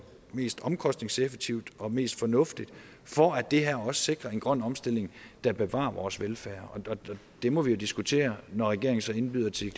mest omkostningseffektivt og mest fornuftigt for at det her også sikrer en grøn omstilling der bevarer vores velfærd det må vi jo diskutere når regeringen så indbyder til